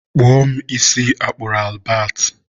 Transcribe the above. kpụọ mụ isi a kpụrụ Albert.